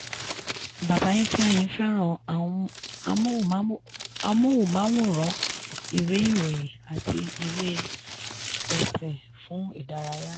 bàbá ifeanyi fẹ́ràn amóhùnmáwòrán ìwé ìròyìn àti ìwé ẹ̀sìn fún ìdárayá.